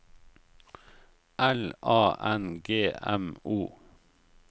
L A N G M O